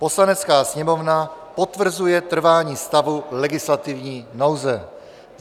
"Poslanecká sněmovna potvrzuje trvání stavu legislativní nouze."